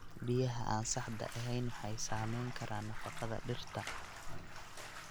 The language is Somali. Biyaha aan saxda ahayn waxay saameyn karaan nafaqada dhirta.